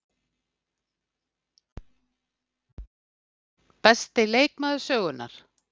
Besti leikmaður sögunnar?